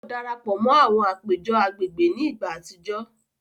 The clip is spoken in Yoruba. O darapọ̀ mọ àwọn apejọ agbègbè ni ìgbà àtijọ